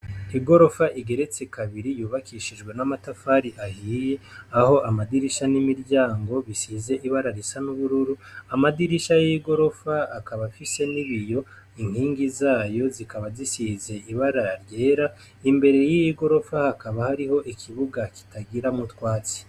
Igorofa igeretse kabiri yubakishijwe n'amatafari ahiye aho amadirisha n'imiryango bisize ibara risa n'ubururu amadirisha y'igorofa akaba afise nibiyo inkingi zayo zikaba zisize ibara ryera imbere y'igorofa hakaba hariho ikibuga kitagira mutwatsi.